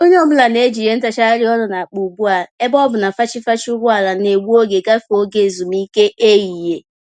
Onye ọ bụla n'eji ìhè ntagharị ọnụ n'akpa ugbu a ebe ọ bụ na fachi-fachi ụgbọala N'egbu oge gafee oge ezumike ehihie